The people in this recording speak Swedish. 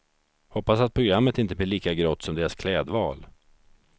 Hoppas att programmet inte blir lika grått som deras klädval.